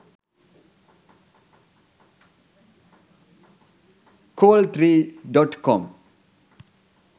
col3.com